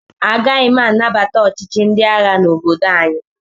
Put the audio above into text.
Agaghị m anabata ọchịchị ndị agha n'obodo anyị.